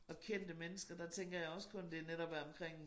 Og kendte mennesker der tænker jeg også på det netop er omkring